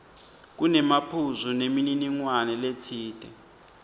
kunemaphuzu nemininingwane letsite